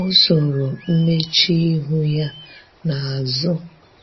o zoro mmechuihu ya na azu